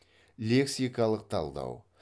лексикалық талдау